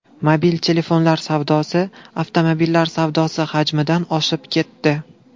Mobil telefonlar savdosi avtomobillar savdosi hajmidan oshib ketdi.